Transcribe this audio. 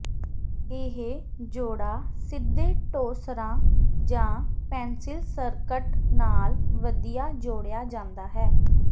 ਇਹ ਜੋੜਾ ਸਿੱਧੇ ਟੌਸਰਾਂ ਜਾਂ ਪੈਨਸਿਲ ਸਕਰਟ ਨਾਲ ਵਧੀਆ ਜੋੜਿਆ ਜਾਂਦਾ ਹੈ